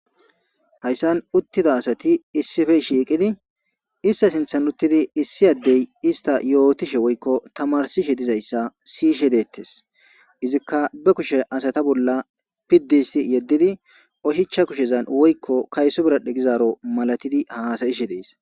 Haysan uthida asati isippe shiiqidi iste sinthan uthidi isi ade ista yotishe woyko tamarisishe dizaysa siyishe deethes izika ba kushe asata bolla pidisi yedidi Usha ha kushezan kayso biral'e gizaro malatidi haasa'ishe de'es.